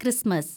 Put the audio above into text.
Christmas